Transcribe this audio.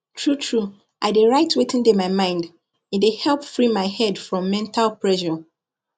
truetrue i dey write wetin dey my mind e dey help free my head from mental pressure